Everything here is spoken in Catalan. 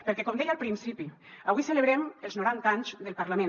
perquè com deia al principi avui celebrem els noranta anys del parlament